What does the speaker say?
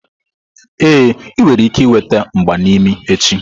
Ee, ị nwere ike ịnweta mgba n'imi echi.